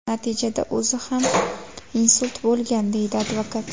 Natijada o‘zi ham insult bo‘lgan”, deydi advokat.